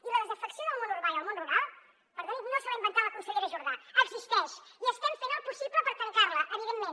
i la desafecció del món urbà i el món rural perdoni no se l’ha inventat la consellera jordà existeix i estem fent el possible per trencar la evidentment